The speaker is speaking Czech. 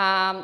A